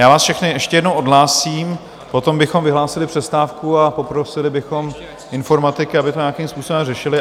Já vás všechny ještě jednou odhlásím, potom bychom vyhlásili přestávku a poprosili bychom informatiky, aby to nějakým způsobem řešili.